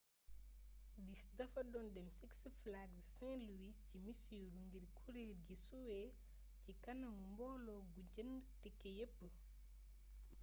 bis dafa doon dem six flags st louis ci missouri ngir kureel gi suwe ci kanamu mbooloo gu jënd tike yepp